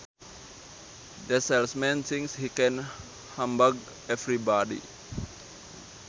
That salesman thinks he can humbug everybody